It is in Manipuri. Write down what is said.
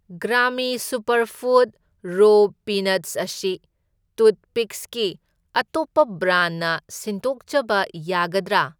ꯒ꯭ꯔꯥꯃꯤ ꯁꯨꯄꯔꯐꯨꯗ ꯔꯣ ꯄꯤꯅꯠꯁ ꯑꯁꯤ ꯇꯨꯊꯄꯤꯛꯁꯀꯤ ꯑꯇꯣꯞꯄ ꯕ꯭ꯔꯥꯟꯅ ꯁꯤꯟꯗꯣꯛꯆꯕ ꯌꯥꯒꯗ꯭ꯔꯥ?